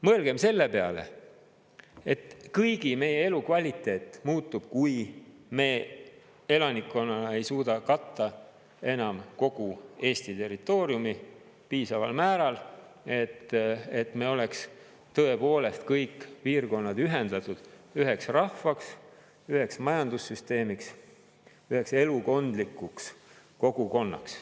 Mõelgem selle peale, et kõigi meie elukvaliteet muutub, kui me elanikkonnana ei suuda katta enam kogu Eesti territooriumi piisaval määral, et me oleks tõepoolest kõik piirkonnad ühendatud üheks rahvaks, üheks majandussüsteemiks, üheks elukondlikuks kogukonnaks.